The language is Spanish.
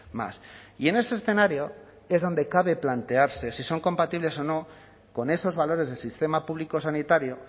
más y en ese escenario es donde cabe plantearse si son compatibles o no con esos valores del sistema público sanitario